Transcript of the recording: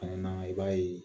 A nana i b'a ye